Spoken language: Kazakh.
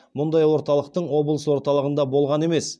мұндай орталықтың облыс орталығында болған емес